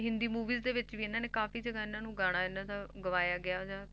Hindi movies ਦੇ ਵਿੱਚ ਵੀ ਇਹਨਾਂ ਨੇ ਕਾਫ਼ੀ ਜਗ੍ਹਾ ਇਹਨਾਂ ਨੂੰ ਗਾਣਾ ਇਹਨਾਂ ਦਾ ਗਵਾਇਆ ਗਿਆ ਜਾਂ